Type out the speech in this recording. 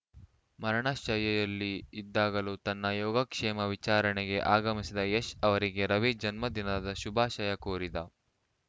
ಮರಣಶಯ್ಯೆಯಲ್ಲಿ ಇದ್ದಾಗಲೂ ತನ್ನ ಯೋಗಕ್ಷೇಮ ವಿಚಾರಣೆಗೆ ಆಗಮಿಸಿದ ಯಶ್‌ ಅವರಿಗೆ ರವಿ ಜನ್ಮದಿನದ ಶುಭಾಶಯ ಕೋರಿದ